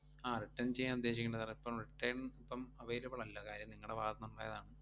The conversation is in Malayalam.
ആഹ് return ചെയ്യാൻ ഉദ്ദേശിക്കണ്ട sir എ ഇപ്പം return ഇപ്പം available അല്ല. കാര്യം നിങ്ങടെ ഭാഗത്തുനിന്ന് ഒണ്ടായതാണ്.